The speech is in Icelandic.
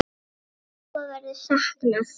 Jóa verður saknað.